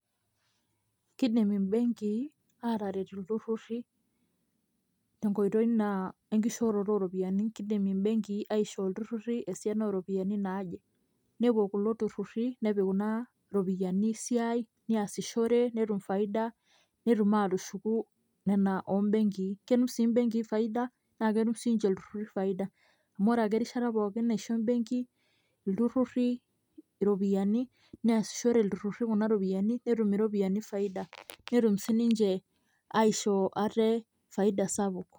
Kidim imbenkii ataret ilturrurri, tenkoitoi naa enkishooroto oropiyiani. Kidim imbenkii aishoo ilturrurri esiana oropiyiani naaje. Nepuo kulo turrurri, nepik kuna ropiyaiani esiai, niasishore, netum faida, netum atushuku ina ombenkii. Ketum si benkii faida, na ketum sinche ilturrurri faida. Amu ore ake erishata pookin naisho ebenki ilturrurri iropiyiani, neasishore ilturrurri kuna ropiyaiani, netum iropiyiani faida. Netum sininche aishoo ate faida sapuk.